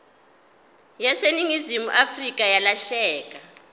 yaseningizimu afrika yalahleka